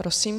Prosím.